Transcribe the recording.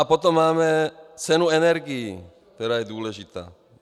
A potom máme cenu energií, která je důležitá.